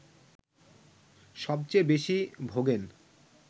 সবচেয়ে বেশি ভোগেন